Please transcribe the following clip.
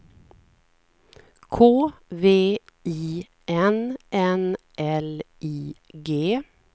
K V I N N L I G